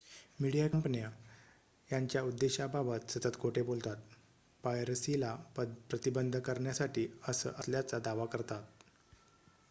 "Media कंपन्या याच्या उद्देशाबाबत सतत खोट बोलतात "पायरसीला प्रतिबंध" करण्यासाठी असं असल्याचा दावा करतात.